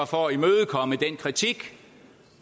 for at imødekomme den kritik